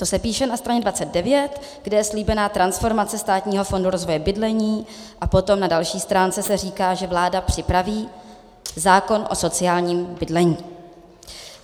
To se píše na straně 29, kde je slíbená transformace Státního fondu rozvoje bydlení, a potom na další stránce se říká, že vláda připraví zákon o sociálním bydlení.